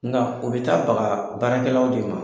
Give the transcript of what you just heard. Nka o bɛ taa bagaa baarakɛlaw de ma.